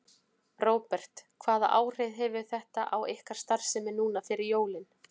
Róbert: Hvaða áhrif hefur þetta á ykkar starfsemi núna fyrir jólin?